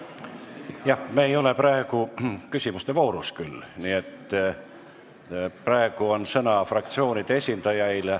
Praegu ei ole küll küsimuste voor, praegu on sõna fraktsioonide esindajail.